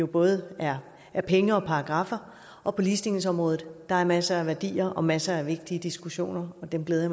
både er er penge og paragraffer og på ligestillingsområdet er der masser af værdier og masser af vigtige diskussioner og dem glæder